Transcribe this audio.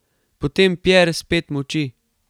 Potem Pjer spet molči.